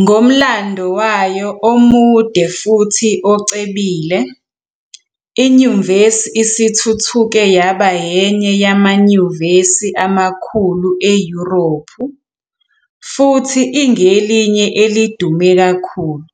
Ngomlando wayo omude futhi ocebile, inyuvesi isithuthuke yaba enye yamanyuvesi amakhulu eYurophu, futhi ingelinye elidume kakhulu,